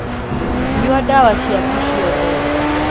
Nyua ndawa ciaku ciothe.